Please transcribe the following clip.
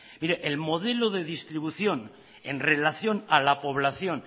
mire el modelo de distribución en relación a la población